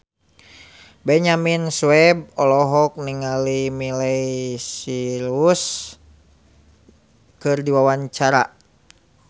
Benyamin Sueb olohok ningali Miley Cyrus keur diwawancara